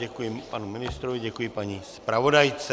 Děkuji panu ministrovi, děkuji paní zpravodajce.